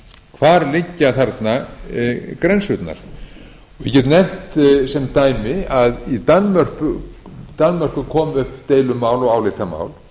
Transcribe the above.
hvar liggja þarna grensurnar ég get nefnt sem dæmi að í danmörku kom upp deilumál og álitamál